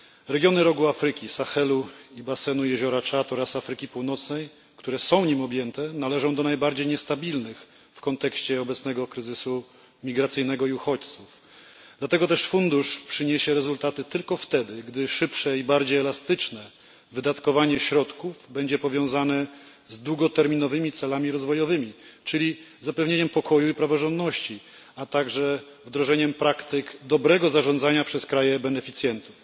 Regiony Rogu Afryki, Sahelu i basenu jeziora Czad oraz Afryki Północnej, które są nim objęte, należą do najbardziej niestabilnych w kontekście obecnego kryzysu migracyjnego i uchodźców, dlatego też fundusz przyniesie rezultaty tylko wtedy, gdy szybsze i bardziej elastyczne wydatkowanie środków będzie powiązane z długoterminowymi celami rozwojowymi czyli zapewnieniem pokoju i praworządności a także wdrożeniem praktyk dobrego zarządzania przez kraje beneficjentów.